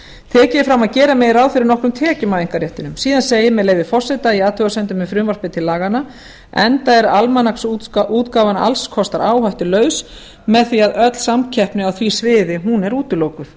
tekið er fram að gera megi ráð fyrir nokkrum tekjum af einkaréttinum og í athugasemdum segir með leyfi forseta enda er almanaksútgáfan alls kostar áhættulaus með því að öll samkeppni á því sviði er útilokuð